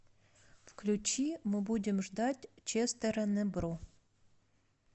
включи мы будем ждать честера небро